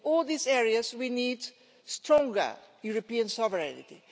In all these areas we need stronger European sovereignty.